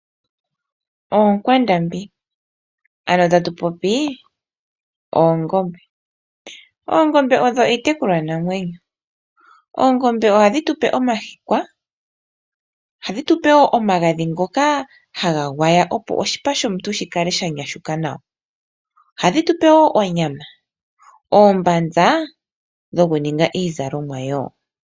Oonkwandambi, ano tatu popi oongombe. Oongombe odho iitekulwanamwenyo. Oongombe ohadhi tu pe omahikwa. Ohadhi tu pe wo omagadhi ngoka haga gwaywa opo oshipa shomuntu shi kale sha nyashuka nawa. Ohadhi tu pe wo onyama noombanza dhokuninga wo iizalomwa.